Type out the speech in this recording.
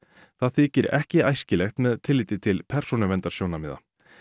það þykir ekki æskilegt með tilliti til persónuverndarsjónarmiða